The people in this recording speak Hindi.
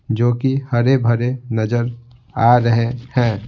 जो कि हरे भरे नजर आ रहे हैं.